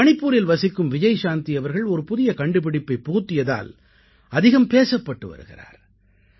மணிப்பூரில் வசிக்கும் விஜய்சாந்தி அவர்கள் ஒரு புதிய கண்டுபிடிப்பைப் புகுத்தியதால் அதிகம் பேசப்பட்டு வருகிறார்